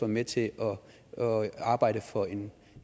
med til at arbejde for en